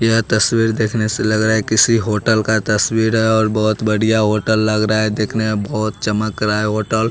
यह तस्वीर देखने से लग रहा है किसी होटल का तस्वीर है और बहुत बढ़िया होटल लग रहा है देखने में बहुत चमक रहा है होटल --